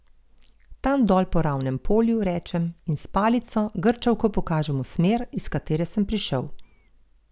Tam dol po ravnem polju, rečem in s palico, grčavko pokažem v smer, iz katere sem prišel.